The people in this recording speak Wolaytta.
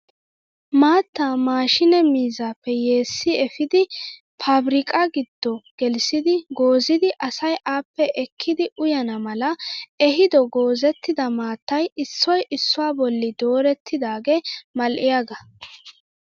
Maattaa maashinee miizzaappe yeessi epiidi pabirkkaa giddo gelissidi goozidi asay appe ekkidi uyyana mala eehido goozettida maattay issoy issuwaa bolli dorettidaagee mal"iyaaga.